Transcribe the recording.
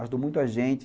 Ajudou muito a gente.